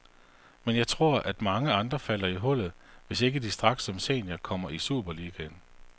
Men jeg tror, at mange andre falder i hullet hvis ikke de straks som senior kommer i superligaen.